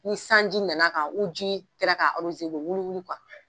Ni sanji nana kan u ji kɛlɛ ka aroze u be wuli wuli kuwa